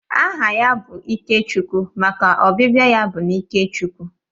Aha bụ Ikechukwu maka ọbịbịa ya bụ n'ike Chukwu